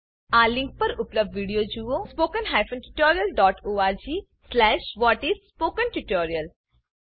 આપેલ લીંક પર ઉપલબ્ધ વિડીયો જુઓ httpspoken tutorialorgવ્હાટ ઇસ સ્પોકન ટ્યુટોરિયલ